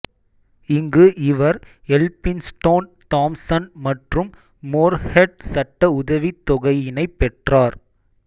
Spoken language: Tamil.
இங்கு இவர் எல்பின்ஸ்டோன் தாம்சன் மற்றும் மோர்ஹெட் சட்ட உதவித்தொகையினைப் பெற்றார்